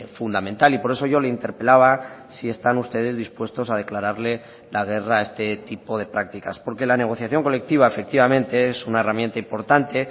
fundamental y por eso yo le interpelaba si están ustedes dispuestos a declararle la guerra a este tipo de prácticas porque la negociación colectiva efectivamente es una herramienta importante